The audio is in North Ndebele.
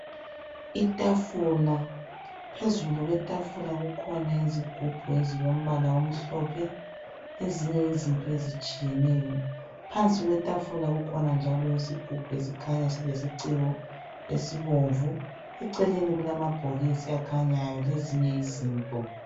Itafula, phezulu kwetafula kukhona izigubhu ezilombala omhlophe lezinye izinto ezitshiyeneyo. Phansi kwetafula kukhona njalo isigubhu esikhanya silesiciko esibomvu, eceleni kulamabhokisi akhanyayo lezinye izinto